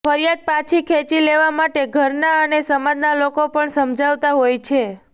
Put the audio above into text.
ફરિયાદ પાછી ખેંચી લેવા માટે ઘરના અને સમાજના લોકો પણ સમજાવતા હોય છે